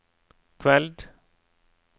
kveld